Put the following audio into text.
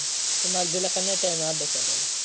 तुम्हाला दिला का नाही time अभ्यासाला?